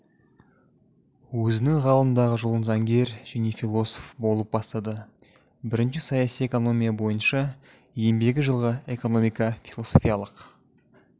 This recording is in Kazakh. өзінің ғылымдағы жолын заңгер және философ болып бастады бірінші саяси экономия бойынша еңбегі жылғы экономика-философиялық